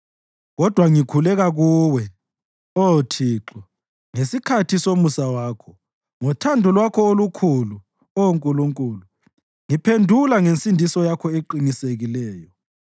Kodwa ngikhuleka kuwe, Oh Thixo, ngesikhathi somusa wakho; ngothando lwakho olukhulu, Oh Nkulunkulu, ngiphendula ngensindiso yakho eqinisekileyo.